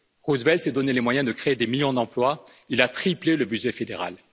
Roosevelt s'est donné les moyens de créer des millions d'emplois, il a triplé le budget fédéral.